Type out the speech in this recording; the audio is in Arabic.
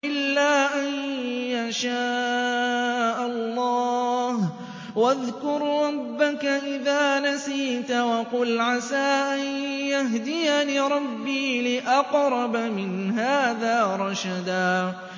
إِلَّا أَن يَشَاءَ اللَّهُ ۚ وَاذْكُر رَّبَّكَ إِذَا نَسِيتَ وَقُلْ عَسَىٰ أَن يَهْدِيَنِ رَبِّي لِأَقْرَبَ مِنْ هَٰذَا رَشَدًا